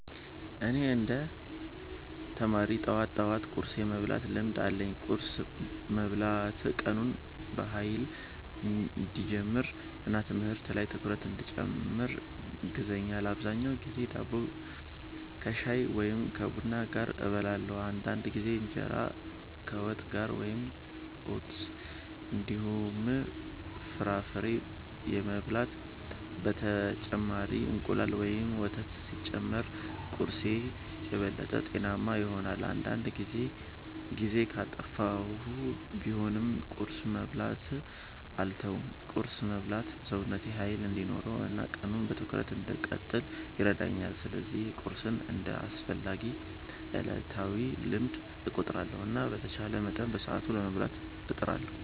እኔ እንደ ተማሪ ጠዋት ጠዋት ቁርስ የመብላት ልምድ አለኝ። ቁርስ መብላት ቀኑን በኃይል እንዲጀምር እና ትምህርት ላይ ትኩረት እንዲጨምር ያግዛል። አብዛኛውን ጊዜ ዳቦ ከሻይ ወይም ከቡና ጋር እበላለሁ። አንዳንድ ጊዜ እንጀራ ከወጥ ጋር ወይም ኦትስ እንዲሁም ፍራፍሬ እበላለሁ። በተጨማሪም እንቁላል ወይም ወተት ሲጨመር ቁርስዬ የበለጠ ጤናማ ይሆናል። አንዳንድ ጊዜ ጊዜ ካጠፋሁ ቢሆንም ቁርስ መብላትን አልተውም። ቁርስ መብላት ሰውነቴ ኃይል እንዲኖረው እና ቀኑን በትኩረት እንድቀጥል ይረዳኛል። ስለዚህ ቁርስን እንደ አስፈላጊ ዕለታዊ ልምድ እቆጥራለሁ እና በተቻለ መጠን በሰዓቱ ለመብላት እጥራለሁ።